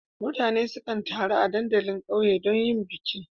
Mutane sukan taru a dandalin ƙauye don yin bikin.